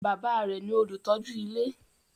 Bàbá a rẹ̀ ní olùtọ́jú ilé.